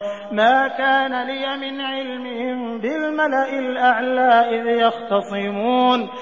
مَا كَانَ لِيَ مِنْ عِلْمٍ بِالْمَلَإِ الْأَعْلَىٰ إِذْ يَخْتَصِمُونَ